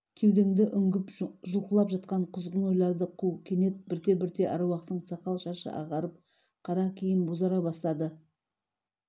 кеудеңді үңгіп жұлқылап жатқан құзғын ойларды қу кенет бірте-бірте аруақтың сақал-шашы ағарып қара киім бозара бастады